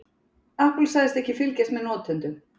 Apple segist ekki fylgjast með notendum